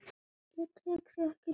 Ég tek þig ekki núna.